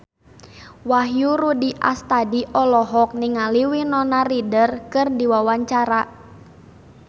Wahyu Rudi Astadi olohok ningali Winona Ryder keur diwawancara